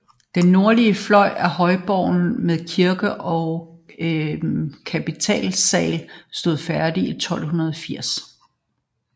Den nordlige fløj af højborgen med kirke og kapitelsal stod færdig i 1280